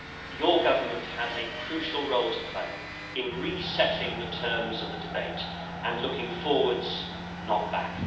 Your government has a crucial role to play in re setting the terms of the debate and looking forwards, not back.